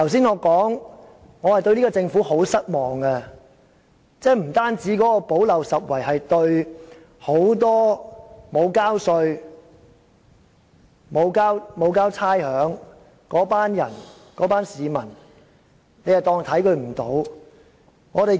我剛才已表明對這個政府很失望，所謂的"補漏拾遺"，是因為對很多沒有繳稅和繳交差餉的市民視而不見。